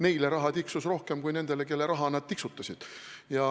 Neile tiksus raha rohkem kui nendele, kelle raha nad tiksutasid.